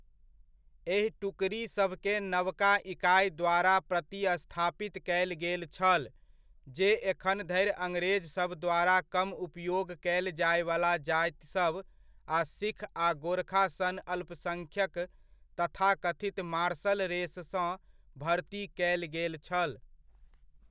एहि टुकड़ी सभकेँ नवका इकाइ द्वारा प्रतिस्थापित कयल गेल छल, जे एखन धरि अंग्रेजसभ द्वारा कम उपयोग कयल जायवला जातिसभ आ सिख आ गोरखा सन अल्पसङ्ख्यक तथाकथित मार्शल रेससँ भर्ती कयल गेल छल।